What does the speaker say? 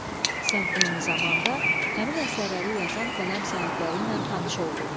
Sən eyni zamanda həmin əsərləri yazan qələm sahibləri ilə tanış oldun.